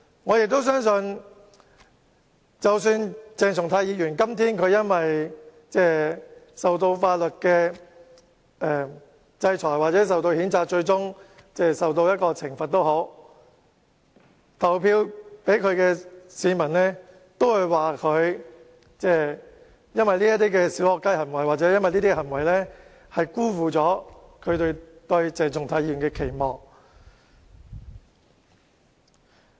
我亦相信，鄭松泰議員今天無論因法律制裁或譴責而最終受到懲罰，投票給他的市民都會說他的"小學雞"行為辜負了他們對鄭松泰議員的期望。